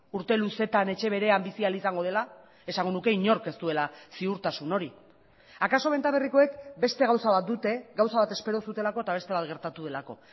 urte luzeetan etxe berean bizi ahal izango dela esango nuke inork ez duela ziurtasun hori akaso benta berrikoek beste gauza bat dute gauza bat espero zutelako eta beste bat gertatu delako